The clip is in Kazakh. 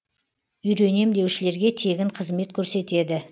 үйренем деушілерге тегін қызмет көрсетеді